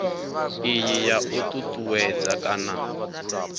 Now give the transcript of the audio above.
iyi ya u ṱuṱuwedza kana